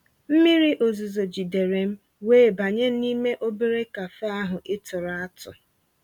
mmírí ọ̀zuzọ̀ jìdéré m wéé bànyé n'ímé òbérè cafe ahụ́ ị̀ tụ̀rụ́ àtụ́.